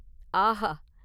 ஆஹா !